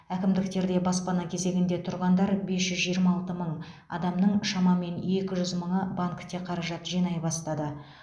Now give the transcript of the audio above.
әкімдіктерде баспана кезегінде тұрғандар бес жүз жиырма алты мың адамның шамамен екі жүз мыңы банкте қаражат жинай бастады